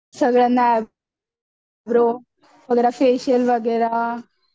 सगळ्यांना फेशियल वगैरे